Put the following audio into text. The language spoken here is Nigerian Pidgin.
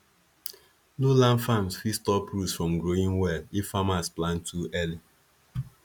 low land farms fit stop roots from growing well if farmers plant too early